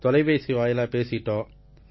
தொலைபேசி வாயிலா பேசிக்கிட்டோம்